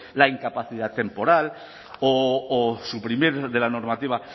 la incapacidad temporal o suprimir de la normativa